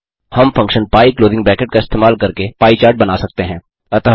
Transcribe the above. हम function pie का इस्तेमाल करके पाई चार्ट बना सकते हैं